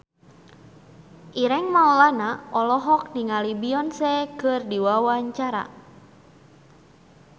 Ireng Maulana olohok ningali Beyonce keur diwawancara